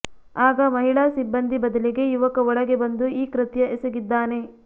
ಆಗ ಮಹಿಳಾ ಸಿಬ್ಬಂದಿ ಬದಲಿಗೆ ಯುವಕ ಒಳಗೆ ಬಂದು ಈ ಕೃತ್ಯ ಎಸಗಿದ್ದಾನೆ